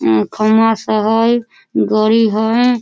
उ खंभा सब हई गाड़ी हई ।